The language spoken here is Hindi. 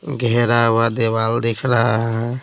घेरा हुआ दीवाल दिख रहा है।